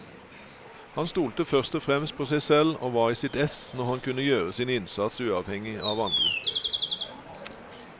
Han stolte først og fremst på seg selv, og var i sitt ess når han kunne gjøre sin innsats uavhengig av andre.